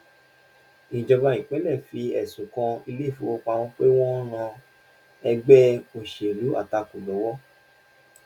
ìjọba ìpínlè fi ẹsùn kan ilé-ifówopámọ́ pé wọ́n ń ran ẹgbẹ òṣèlú àtakò lọ́wọ́.